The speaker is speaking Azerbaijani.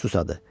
Susadı.